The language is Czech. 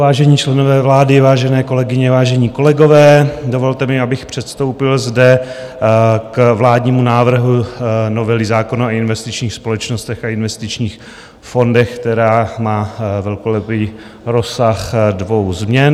Vážení členové vlády, vážené kolegyně, vážení kolegové, dovolte mi, abych předstoupil zde k vládnímu návrhu novely zákona o investičních společnostech a investičních fondech, která má velkolepý rozsah dvou změn.